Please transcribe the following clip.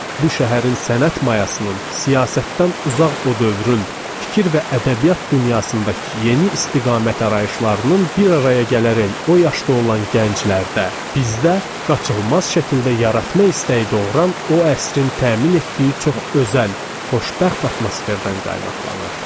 Bu şəhərin sənət mayasının, siyasətdən uzaq o dövrün fikir və ədəbiyyat dünyasındakı yeni istiqamət ərayışlarının bir araya gələrək o yaşda olan gənclərdə, bizdə qaçılmaz şəkildə yaratma istəyi doğuran o əsrin təmin etdiyi çox özəl, xoşbəxt atmosferdən qaynaqlanırdı.